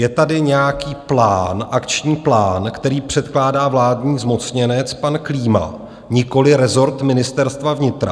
Je tady nějaký plán, akční plán, který předkládá vládní zmocněnec pan Klíma, nikoliv rezort Ministerstva vnitra.